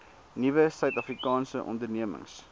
nuwe suidafrikaanse ondernemings